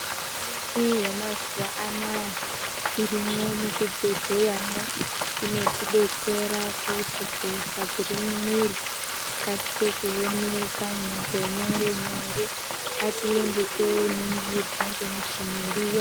Michini yemazuva anaya irimwo muzvibhedhleyamwo inotibetsera kuti hosha dziri mumwiri dzikasike kuoneka ngenyore-nyore. Ngatiende toningirwa ngemuchini iriyo.